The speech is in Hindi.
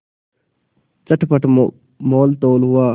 चटपट मोलतोल हुआ